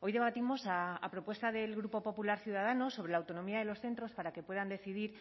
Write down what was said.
hoy debatimos a propuesta del grupo popular ciudadanos sobre la autonomía de los centros para que puedan decidir